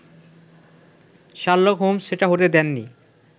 Sherlock Holmes সেটা হতে দেননি